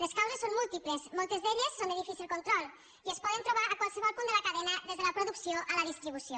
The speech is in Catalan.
les causes són múltiples moltes d’elles són de difícil control i es poden trobar a qualsevol punt de la cadena des de la producció a la distribució